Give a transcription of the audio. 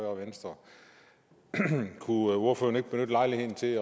og venstre kunne ordføreren ikke benytte lejligheden til